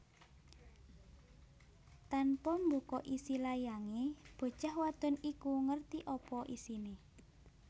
Tanpa mbuka isi layange bocah wadon iku ngerti apa isine